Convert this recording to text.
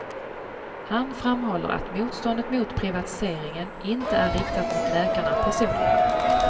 Han framhåller att motståndet mot privatiseringen inte är riktat mot läkarna personligen.